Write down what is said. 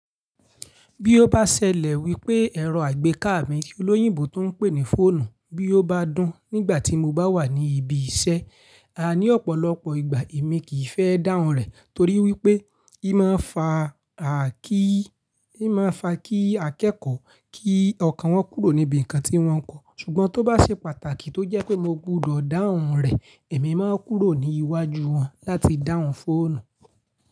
Bí ó bá ṣẹlẹ̀ wípé ẹ̀rọ àgbéká mi tí olóyìnbó tún n pè ní fóònù bí ó bá dún nígbà tí mo bá wà ní ibi iṣẹ́. A ní ọ̀pọ̀lọpọ̀ ìgbà èmi kì í fẹ́ dáhùn rẹ̀ torí wípé í máa ń fa kí akẹ́kọ̀ọ́ kí ọkàn wọn kúrò níbi ǹkan tí wọ́n ń kọ̀. Ṣùgbọ́n tó bá ṣe pàtàkì tó jẹ́ pé mo gbúdọ̀ dáhùn rẹ̀, èmi máa ń kúrò ní iwájú wọn láti dáhùn fóònù.